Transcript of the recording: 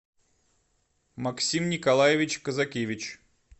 максим николаевич козакевич